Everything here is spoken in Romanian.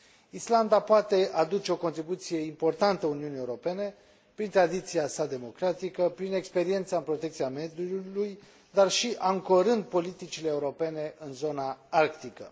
Islanda poate aduce o contribuție importantă Uniunii Europene prin tradiția sa democratică, prin experiența în protecția mediului, dar și ancorând politicile europene în zona arctică.